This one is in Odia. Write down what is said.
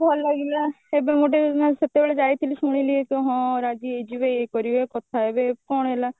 ଭଲ ଲାଗିଲା ଏବେ ଗୋଟେ ନାଇଁ ସେତେବେଳେ ଯାଇଥିଲି ଶୁଣିଲି କି ହଁ ରାଜିହେଇଯିବେ ଇଏ କରିବେ କଥା ହେବେ କିନ୍ତୁ କଣ ହେଲା